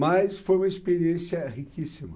Mas foi uma experiência riquíssima.